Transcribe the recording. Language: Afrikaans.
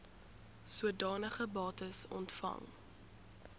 sodanige bates ontvang